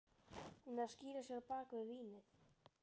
Hún er að skýla sér á bak við vínið.